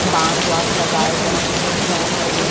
बांस वास लगाए गए है सीलिंग फैन है विन--